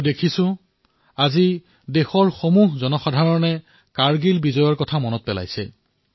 মই দেখিবলৈ পাইছো যে আজি সমগ্ৰ দেশে কাৰ্গিল বিজয়ৰ দিনটো সোঁৱৰণ কৰিছে